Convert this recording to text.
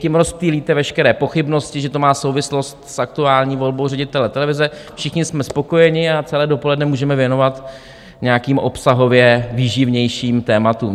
Tím rozptýlíte veškeré pochybnosti, že to má souvislost s aktuální volbou ředitele televize, všichni jsme spokojeni a celé dopoledne můžeme věnovat nějakým obsahově výživnějším tématům.